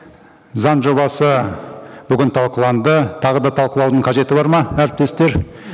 заң жобасы бүгін талқыланды тағы да талқылаудың қажеті бар ма әріптестер